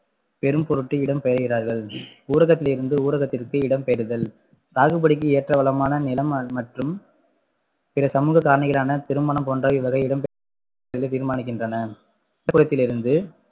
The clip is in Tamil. பெறும்பொருட்டு இடம்பெயர்கிறார்கள் ஊரகத்திலிருந்து ஊரகத்திற்கு இடம்பெயர்தல் சாகுபடிக்கு ஏற்ற வளமான நிலம் ம~ மற்றும் பிற சமூக காரணிகளான திருமணம் போன்ற இவ்வகை இடம் தீர்மானிக்கின்றன த்திலிருந்து